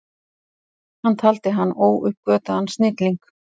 Hann taldi hann óuppgötvaðan snilling.